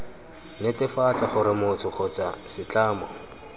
netefatsa gore motho kgotsa setlamo